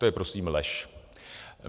To je prosím lež.